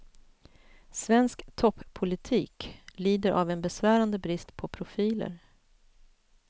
Svensk toppolitik lider av en besvärande brist på profiler.